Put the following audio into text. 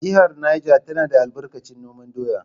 Jihar Neja tana da albarkacin noman doya.